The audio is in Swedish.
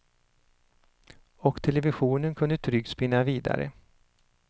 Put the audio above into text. Och televisionen kunde tryggt spinna vidare.